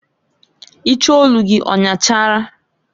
Iche olu gị ọnyachara?